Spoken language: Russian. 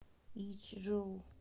ичжоу